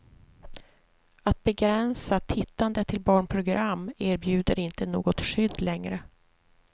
Att begränsa tittandet till barnprogram erbjuder inte något skydd längre.